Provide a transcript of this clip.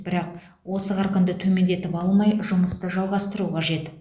бірақ осы қарқынды төмендетіп алмай жұмысты жалғастыру қажет